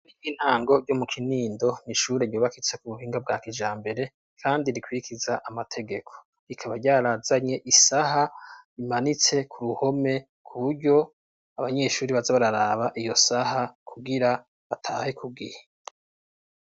Ishure ry'intango ryo mu kinindo ntishure riubakitse ku buhinga bwa kijambere kandi rikwirikiza amategeko rikaba ryarazanye isaha rimanitse ku ruhome kuburyo abanyeshuri baze bararaba iyo saha kubwira bataye ku gihe.